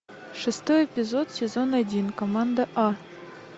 шестой эпизод сезон один команда а